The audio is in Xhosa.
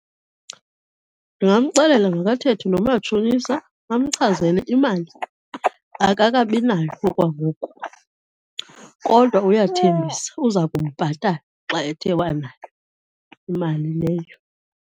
Ndingamxelela makathethe nomatshonisa amchazele imali akakabinayo okwangoku kodwa uyathembisa uza kumbhatala xa ethe wanayo imali leyo.